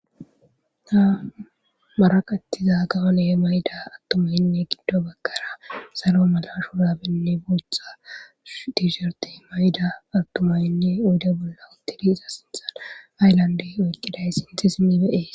ta maraqattiza gawole mayda attumaynne giddo bakkara salo mala shurabenne buotha diisherte mayda attumaynne uyda bolla utili iza sinthan aylandey oykkiday sinthi simi beee